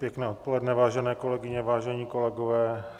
Pěkné odpoledne, vážené kolegyně, vážení kolegové.